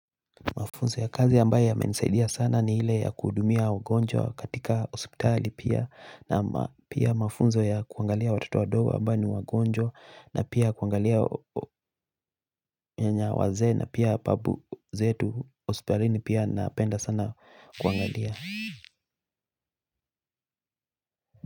Mafunzo ya kazi ambayo yamenisaidia sana ni ile ya kuhudumia wagonjwa katika hospitali pia na pia mafunzo ya kuangalia watoto wadogo ambao ni wagonjwa na pia kuangalia nyanya wazee na pia babu zetu hospitalini pia napenda sana kuangalia.